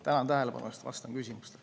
Tänan tähelepanu eest ja vastan küsimustele.